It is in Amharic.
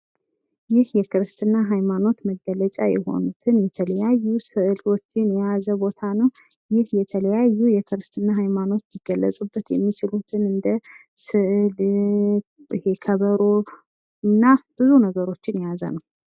ይህ የክርስትና ሀይማኖት መገለጫ የሆኑትን የተለያዩ ስእሎችን የያዘ ቦታ ነው። ይህ የተለያዩ የክርስትና ሀይማኖት ሊገለፁበት የሚችሉትን እኝደ ስእል፣ ከበሮ እና ብዙ ነገሮችን የያዘ ነው።